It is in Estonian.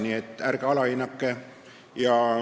Nii et ärge neid inimesi alahinnake.